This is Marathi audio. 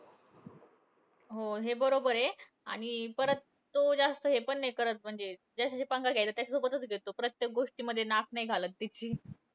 हो. हे बरोबर आहे आणि परत तो जास्त हे पण नाही करत. म्हणजे ज्याच्याशी पंगा घ्यायचा त्याच्यासोबतचं घेतो. प्रत्येक गोष्टींमध्ये नाक नाही घालत. कुठलीही.